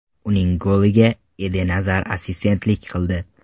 Uning goliga Eden Azar assistentlik qildi.